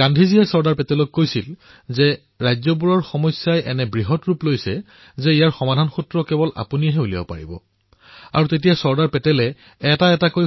গান্ধীজীয়ে চৰ্দাৰ পেটেলক কৈছিল যে ৰাজ্যসমূহৰ সমস্যা ইমানেই যে কেৱল আপুনিহে ইয়াৰ সমাধান কৰিব পাৰিব আৰু চৰ্দাৰ পেটেলে এটা এটা কৈ